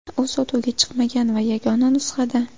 U sotuvga chiqmagan va yagona nusxada.